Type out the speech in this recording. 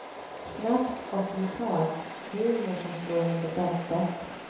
Snabbt och brutalt, humor som slår under bältet.